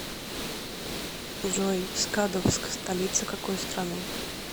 джой скадовск столица какой страны